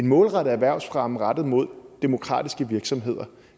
målrettet erhvervsfremme rettet mod demokratiske virksomheder